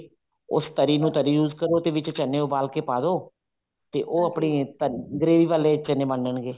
ਉਸ ਤਰੀ ਨੂੰ ਤਰੀ use ਕਰੋ ਵਿੱਚ ਚਨੇ ਉਬਾਲ ਕੇ ਪਾਦੋ ਤੇ ਉਹ ਆਪਣੇ gravy ਵਾਲੇ ਚਨੇ ਬਣ ਜਾਣਗੇ